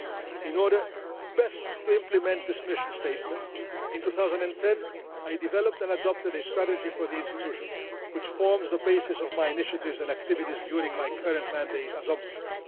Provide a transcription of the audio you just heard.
In order best to implement this mission statement, in 2010 I developed and adopted a strategy for the institution which forms the basis of my initiatives and activities during my current mandate as Ombudsman.